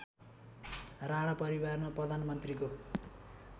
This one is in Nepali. राणा परिवारमा प्रधानमन्त्रीको